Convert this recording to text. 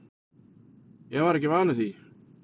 Ég var ekki vanur því.